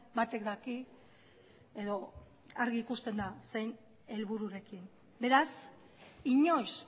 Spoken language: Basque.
batek daki edo argi ikusten da zein helbururekin beraz inoiz